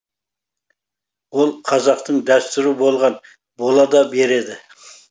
ол қазақтың дәстүрі болған бола да береді